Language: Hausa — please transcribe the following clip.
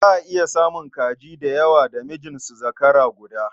Za a iya samun kaji da yawa da mijin su zakara guda.